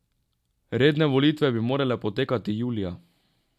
Redne volitve bi morale potekati julija.